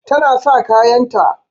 Tana sa kayanta.